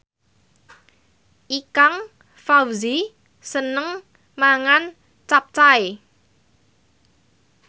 Ikang Fawzi seneng mangan capcay